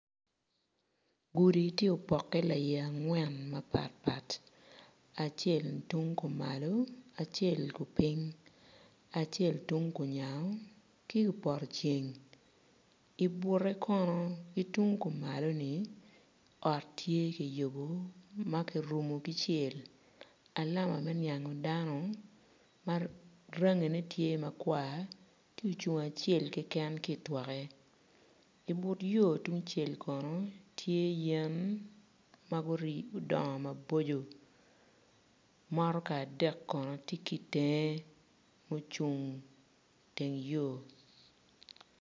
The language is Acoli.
Gudi tye opokke laiye angwen mapatpat acel ma tung kumalo acel kupiny acel tung kunyango ki kupoto ceng ibute kono ki tung kumaloni ot tye kiyubo ma kirumo ki cel alama me niango dano marangine tye makwar tye ocung acel keken ki itwokke inut yo tungcel kono tye yen ma gudongo mabocco motoka adek bene tye ki itenge ma ocung iteng yo.